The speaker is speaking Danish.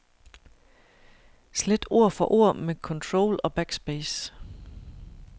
Slet ord for ord med control og backspace.